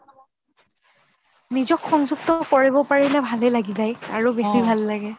নিজক সংযুক্ত কৰিব পাৰিলে ভাললে লাগি যায় আৰু বেছি ভাল লাগে